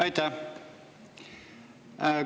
Aitäh!